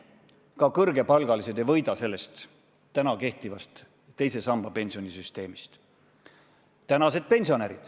Ka kõrgepalgalised ei võida sellest täna kehtivast teise samba pensionisüsteemist.